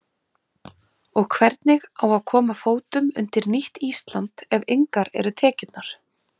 Og hvernig á að koma fótum undir nýtt Ísland ef engar eru tekjurnar?